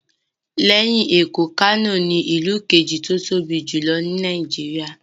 Lẹ́yìn Èkó, Kano ní ìlú kejì tí ó tóbi jù ní Nàìjíríyà